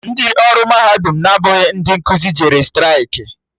Ndị ọrụ mahadum na-abụghị ndị nkuzi jere straịkị